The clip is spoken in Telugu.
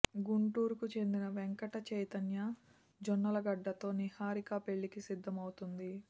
గుంటూరుకు చెందిన వెంకట చైతన్య జొన్నలగడ్డ తో నిహారిక పెళ్ళి కి సిద్దమవుతోంది